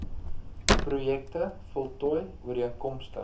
projekte voltooi ooreenkomstig